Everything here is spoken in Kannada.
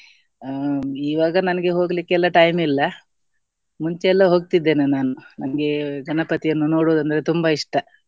ಹ್ಮ್ ಇವಾಗ ನಂಗೆ ಹೋಗ್ಲಿಕ್ಕೆಲ್ಲ time ಇಲ್ಲ ಮುಂಚೆ ಎಲ್ಲ ಹೋಗ್ತಿದ್ದೆ ನಾನು ನಂಗೆ ಗಣಪತಿಯನ್ನು ನೋಡುದಂದ್ರೆ ತುಂಬ ಇಷ್ಟ.